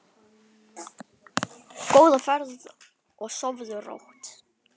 Góða ferð og sofðu rótt.